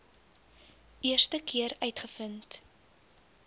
eerste keer uitgevind